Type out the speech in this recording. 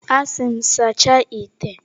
A sị m, sachaa ite!